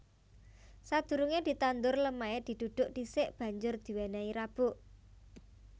Sadurungé ditandur lemahé didhudhuk dhisik banjur diwènèhi rabuk